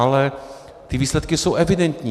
Ale ty výsledky jsou evidentní.